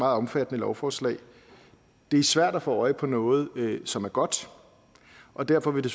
omfattende lovforslag det er svært at få øje på noget som er godt og derfor vil det